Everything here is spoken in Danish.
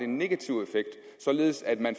negativ effekt således at man